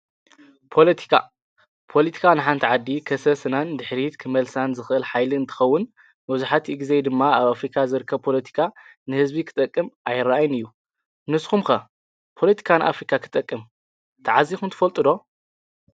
ፖለቲካ፣ ፖለቲካ ንሓንቲ ዓዲ ከሰስናን ድሕሪት ክመልሳን ዝኽእል ሓይሊ እንትኸውን መዙሕትኡ ጊዜ ድማ ኣብ ኣፍሪካ ዝርከ ፖሎቲካ ንህዝቢ ኽጠቅም ኣይረአን እዩ ።ንስኹምከ ፖለቲካ ንኣፍሪካ ኽጠቅም ተዓዚኹም ትፈልጡዶ?